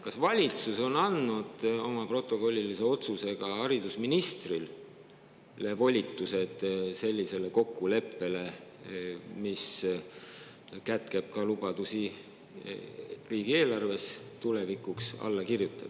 Kas valitsus on andnud oma protokollilise otsusega haridusministrile volitused sellise kokkuleppe allakirjutamiseks, mis kätkeb ka lubadusi riigieelarve kohta?